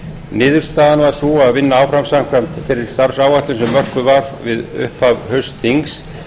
niðurstaðan var sú að vinna áfram samkvæmt þeirri starfsáætlun sem mörkuð var fyrir upphaf haustþings